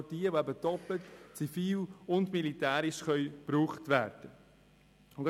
Darunter sind Güter, die doppelt, also zivil und militärisch, verwendet werden können.